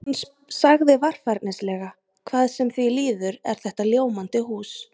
Hann sagði varfærnislega: Hvað sem því líður er þetta ljómandi hús